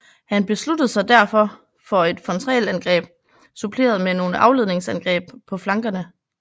Han besluttede sig derfor for et frontalangreb suppleret med nogle afledningsangreb på flankerne